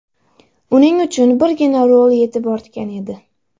Uning uchun birgina rol yetib ortgan edi.